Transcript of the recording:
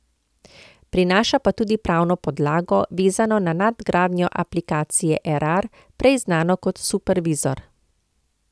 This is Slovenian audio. Prinaša pa tudi pravno podlago, vezano na nadgradnjo aplikacije Erar, prej znano kot Supervizor.